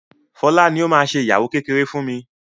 Fola ní o má ṣe ìyàwó kékeré fún mí.